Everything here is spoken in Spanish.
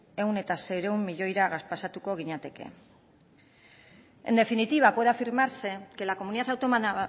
mila seiehun milioira pasatuko ginateke en definitiva puede afirmarse que la comunidad autónoma